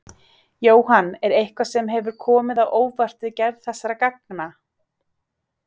Jóhann: Er eitthvað sem hefur komið á óvart við gerð þessara gangna?